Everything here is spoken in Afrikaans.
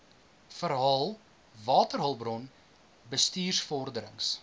verhaal waterhulpbron bestuursvorderings